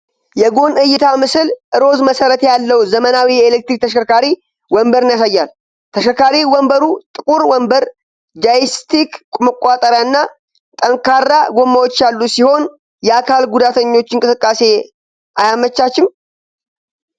የጎን እይታ ምስል ሮዝ መሠረት ያለው ዘመናዊ የኤሌክትሪክ ተሽከርካሪ ወንበርን ያሳያል፤ ተሽከርካሪ ወንበሩ ጥቁር ወንበር፣ ጆይስቲክ መቆጣጠሪያ እና ጠንካራ ጎማዎች ያሉት ሲሆን የአካል ጉዳተኞችን እንቅስቃሴ አያመቻችም?